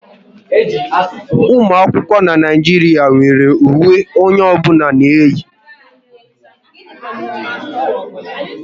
Ụmụ akwụkwọ n'Naijiria nwéré uwe onye ọbụla na-eyi